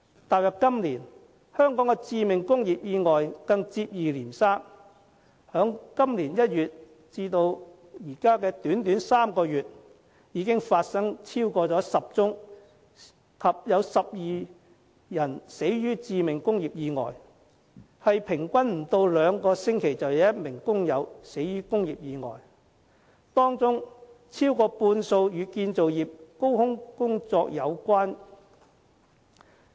踏入今年，香港的致命工業意外更接二連三，在今年1月至現在短短3個月，已經發生了超過10宗及12人死的致命工業意外，平均不到兩星期便有1名工友死於工業意外，當中超過半數與建造業高空工作有關。